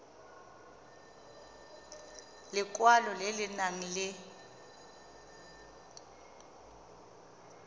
lekwalo le le nang le